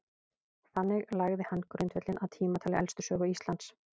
þannig lagði hann grundvöllinn að tímatali elstu sögu íslands